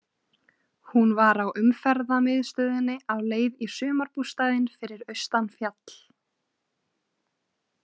Hún var á umferðamiðstöðinni á leið í sumarbústaðinn fyrir austan fjall.